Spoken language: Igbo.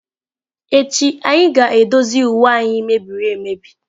Echi anyị ga-edozi uwe anyị mebiri emebi.